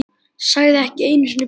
Sagði ekki einu sinni bless.